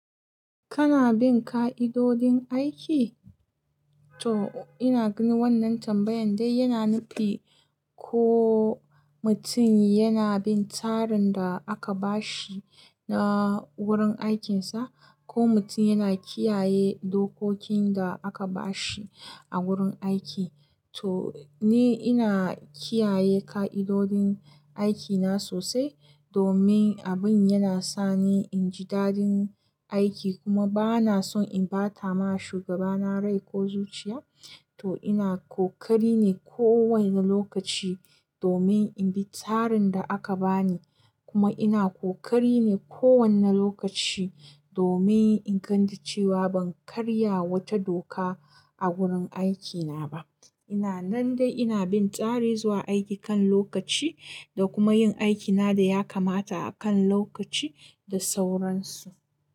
Kana bin ƙa'idodin aiki? To ina ganin wannan tambayan dai yana nufi ko mutum yana bin tsarin da aka ba shi na wurin aikinsa, ko mutum yana kiyaye dokokin da aka ba shi a wurin aiki. To ni ina kiyaye ƙa'idodin aikina sosai domin abin yana sa ni in ji dadin aiki kuma ba na son in bata ma shugabana rai ko zuciya. To ina ƙoƙari ne kowane lokaci domin in bi tsarin da aka ba ni. Kuma ina ƙoƙari ne kowane lokaci domin in gani cewa ban karya wata doka a wurin aikina ba. Ina nan dai ina bin tsari zuwa aiki kan lokaci da kuma yin aikina da ya kamata a kan lokaci da sauransu.